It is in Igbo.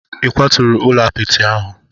Ị kwaturu ụlọ apịtị ahụ?